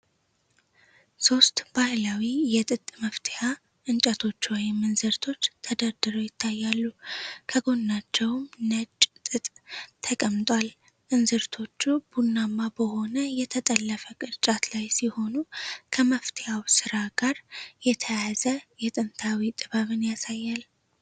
ሶስት ባህላዊ የ ጥጥ መፍተያ እንጨቶች ወይም "እንዝርቶች" ተደርድረው ይታያሉ፤ ከጎናቸውም ነጭ ጥጥ ተቀምጧል። እንዝርቶቹ ቡናማ በሆነ የተጠለፈ ቅርጫት ላይ ሲሆኑ፣ ከመፍተያው ሥራ ጋር የተያያዘ የጥንታዊ ጥበብን ያሳያል።